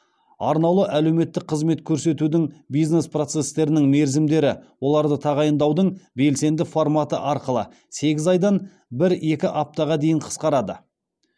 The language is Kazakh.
арнаулы әлеуметтік қызмет көрсетудің бизнес процестерінің мерзімдері оларды тағайындаудың белсенді форматы арқылы сегіз айдан бір екі аптаға дейін қысқарады